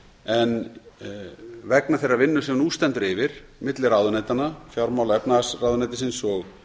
en vegna þeirrar vinnu sem nú stendur yfir milli ráðuneytanna fjármála og efnahagsráðuneytisins og